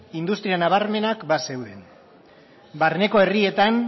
industria nabarmenak bazeuden barneko herrietan